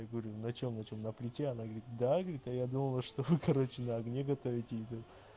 я говорю на чём на чём на плите она говорит да говорит а я думала что короче на огне готовить еду